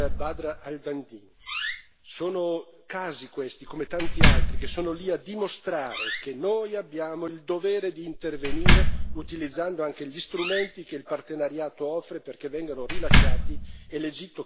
Sono casi questi, come tanti altri, che sono lì a dimostrare che noi abbiamo il dovere di intervenire, utilizzando anche gli strumenti che il partenariato offre perché vengano rilasciati e l'Egitto cambia registro sui diritti umani.